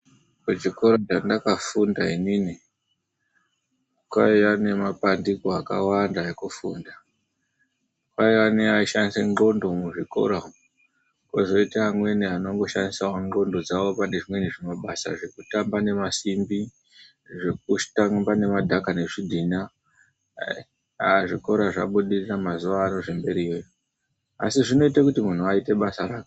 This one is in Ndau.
Kuchikoro chandafunda inini kwaiya nemapandiko akawanda ekufunda. Kwaiya neaishandise ndxondo muzvikora umu, kozoita amweni anongoshandisawo ndxondo dzawo pane zvimweni zvimabasa zvekutamba nemasimbi, zvekutamba nemadhaka nezvidhina. Haa zvikora zvabudirira mazuvano zvemberiyo iyo, asi zvinoite kuti munhu aite basa rake.